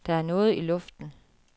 Der er noget i luften.